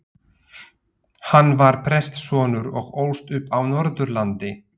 Hann var prestssonur og ólst upp á Norðurlandi.